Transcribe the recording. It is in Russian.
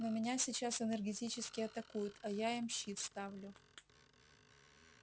но меня сейчас энергетически атакуют а я им щит ставлю